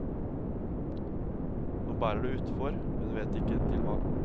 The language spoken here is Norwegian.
Nå bærer det utfor, hun vet ikke til hva.